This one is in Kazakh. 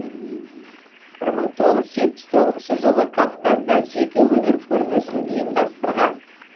бір мың тоғыз жүз жетпіс тоғызыншы жылы кавказда жеке өнер көрмесін ұйымдастырған